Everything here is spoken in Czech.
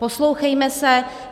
Poslouchejme se.